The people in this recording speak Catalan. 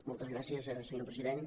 moltes gràcies senyor president